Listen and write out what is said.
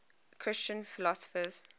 christian philosophers